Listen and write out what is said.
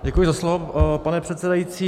Děkuji za slovo, pane předsedající.